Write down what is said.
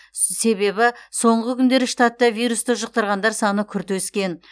себебі соңғы күндері штатта вирусты жұқтырғандар саны күрт өскен